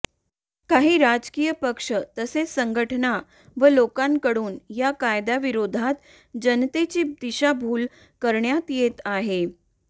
काही राजकीय पक्ष तसेच संघटना व लोकांकडून या कायदय़ाविरोधात जनतेची दिशाभूल करण्यात येत आहे